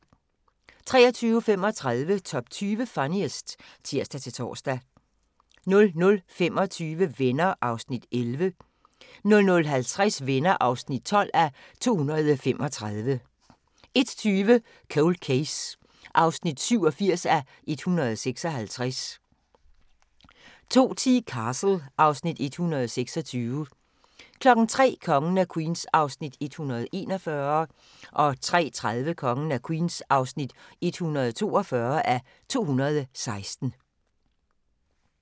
23:35: Top 20 Funniest (tir-tor) 00:25: Venner (11:235) 00:50: Venner (12:235) 01:20: Cold Case (87:156) 02:10: Castle (Afs. 128) 03:00: Kongen af Queens (141:216) 03:30: Kongen af Queens (142:216)